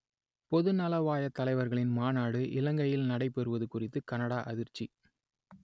பொதுநலவாயத் தலைவர்களின் மாநாடு இலங்கையில் நடைபெறுவது குறித்து கனடா அதிர்ச்சி